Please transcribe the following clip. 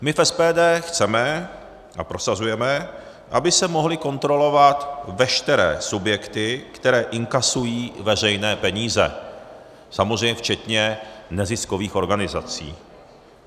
My v SPD chceme a prosazujeme, aby se mohly kontrolovat veškeré subjekty, které inkasují veřejné peníze, samozřejmě včetně neziskových organizací.